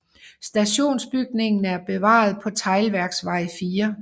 Stationsbygningen er bevaret på Teglværksvej 4